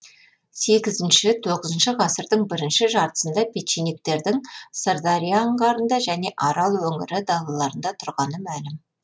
сегізінші тоғызыншы ғасырдың бірінші жартысында печенегтердің сырдария анғарында және арал өнірі далаларында тұрғаны мәлім